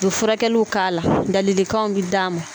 Don furakɛliw k'a la ladilikanw bɛ d'a ma